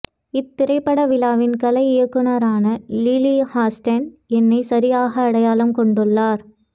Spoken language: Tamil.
இத்திரைப்படவிழாவின் கலை இயக்குனரான லிலி ஹஸ்டன் என்னை சரியாக அடையாளம் கொண்டுள்ளார்